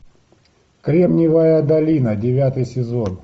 кремниевая долина девятый сезон